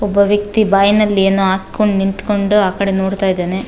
ಒಬ್ಬ ವ್ಯಕ್ತಿ ಬಾಯಿನಲ್ಲಿ ಏನೋ ಹಾಕಿಕೊಂಡು ನಿಂತ್ಕೊಂಡು ಆ ಕಡೆ ನೋಡ್ತಾ ಇದ್ದಾನೆ.